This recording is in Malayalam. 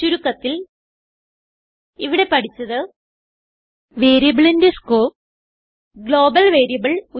ചുരുക്കത്തിൽ ഇവിടെ പഠിച്ചത് വേരിയബിളിന്റെ സ്കോപ് ഗ്ലോബൽ വേരിയബിൾ